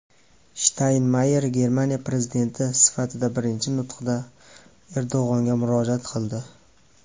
Shtaynmayer Germaniya prezidenti sifatidagi birinchi nutqida Erdo‘g‘onga murojaat qildi.